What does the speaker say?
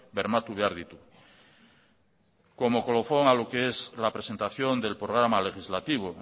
bermatu behar ditu como colofón a lo que es la presentación del programa legislativo